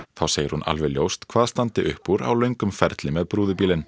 þá segir hún alveg ljóst hvað standi upp úr á löngum ferli með brúðubílinn